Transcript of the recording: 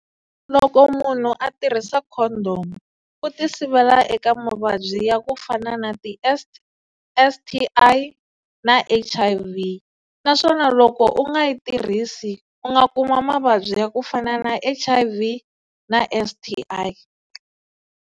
Loko munhu a tirhisa condom u tisivela eka mavabyi ya ku fana na ti-S_S_T_I na H_I_V naswona loko u nga yi tirhisi u nga kuma mavabyi ya ku fana na H_I_V na S_T_I.